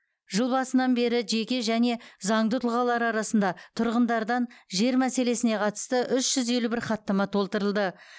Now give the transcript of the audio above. жыл басынан бері жеке және заңды тұлғалар арасында тұрғындардан жер мәселесіне қатысты үш жүз елу бір хаттама толтырылыды